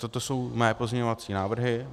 Toto jsou mé pozměňovací návrhy.